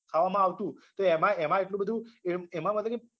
ખાવામાં આવતું એમાં એમાં એટલું બધું એમ એમાં